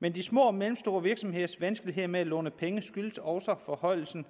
men de små og mellemstore virksomheders vanskeligheder med at låne penge skyldes også forhøjelsen